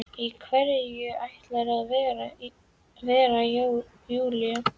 Í hverju ætlarðu að vera Júlía?